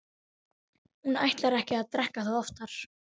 Hún ætlar ekki að drekka það oftar.